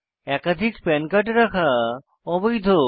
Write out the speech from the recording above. একাধিক PAN card রাখা অবৈধ